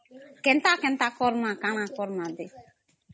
କେନ୍ତା କେନ୍ତା କରମା କାନା କରମା ଦେ Noise